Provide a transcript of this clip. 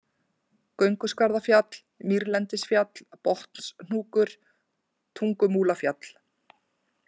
Gönguskarðafjall, Mýrlendisfjall, Botnshnúkur, Tungumúlafjall